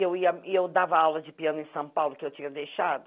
E eu ia eu dava aula de piano em São Paulo, que eu tinha deixado.